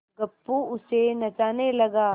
गप्पू उसे नचाने लगा